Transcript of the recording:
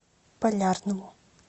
полярному